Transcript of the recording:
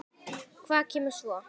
Hvað kemur svo?